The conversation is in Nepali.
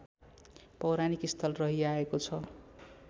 पौराणिक स्थल रहिआएको छ